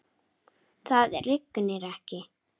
Það rignir ekki.